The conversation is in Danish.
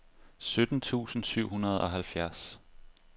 sytten tusind syv hundrede og halvfjerds